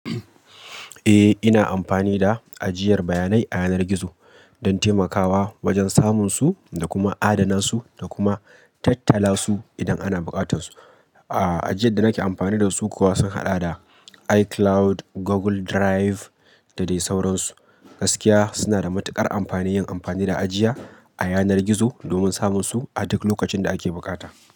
Eh ina amfani da ajiyar bayanai a yanar gizo don taimakawa wajen samun su da kuma adana su da kuma tattala su idan ana buƙatar su. A ajiyar da nake amfani da su kuwa sun haɗa da iCloud, Google Drive da dai sauransu. Gaskiya suna da matuƙar amfani yin amfani da ajiya a yanar gizo domin samun su a duk lokacin da ake bukata.